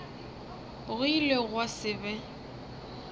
go ile gwa se be